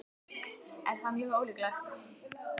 Er það mjög ólíklegt?